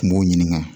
Kun b'o ɲininka